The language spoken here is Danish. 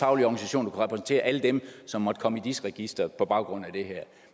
organisationer kunne repræsentere alle dem som måtte komme i dis registeret på baggrund af det her